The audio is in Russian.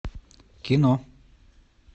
кино